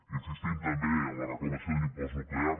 insistim també en la reclamació d’un impost nuclear